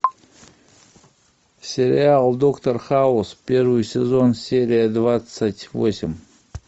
сериал доктор хаус первый сезон серия двадцать восемь